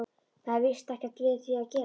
Það er víst ekkert við því að gera.